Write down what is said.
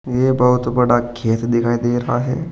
ये बहुत बड़ा खेत दिखाई दे रहा है।